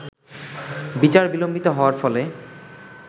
বিচার বিলম্বিত হওয়ার ফলে